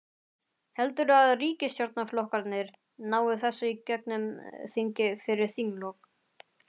Heldurðu að ríkisstjórnarflokkarnir nái þessu í gegnum þingið fyrir þinglok?